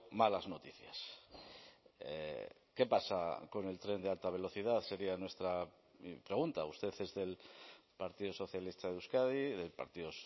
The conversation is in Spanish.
malas noticias qué pasa con el tren de alta velocidad sería nuestra pregunta usted es del partido socialista de euskadi y del partido